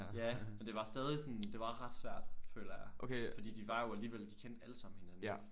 Ja og det var stadig sådan det var ret svært føler jeg fordi de var jo alligevel de kendte alle sammen hinanden